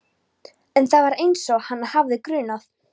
En það fór einsog hana hafði grunað.